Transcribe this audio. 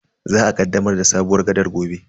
Za a kaddamar da sabuwar gaɗar gobe.